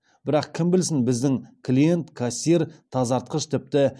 бірақ кім білсін біздің клиент кассир тазартқыш тіпті